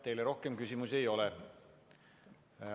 Teile rohkem küsimusi ei ole.